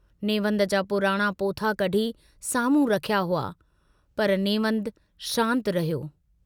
नेवंद जा पुराणा पोथा कढी सामुहूं रखिया हुआ, पर नेवंद शान्त रहियो।